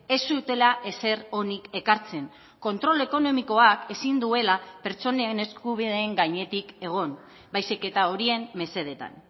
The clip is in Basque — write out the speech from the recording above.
ez zutela ezer onik ekartzen kontrol ekonomikoak ezin duela pertsonen eskubideen gainetik egon baizik eta horien mesedetan